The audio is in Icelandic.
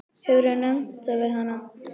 Hefurðu nefnt það við hana?